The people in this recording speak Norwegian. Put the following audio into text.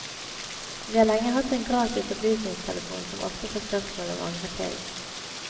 Vi har lenge hatt en gratis opplysningstelefon som ofte får spørsmål om angrepillen.